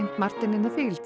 Martin in the